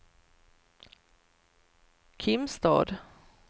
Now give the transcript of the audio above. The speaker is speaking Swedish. Kimstad